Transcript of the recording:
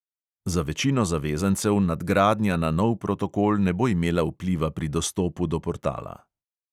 Za večino zavezancev nadgradnja na nov protokol ne bo imela vpliva pri dostopu do portala.